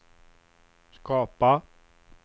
skapa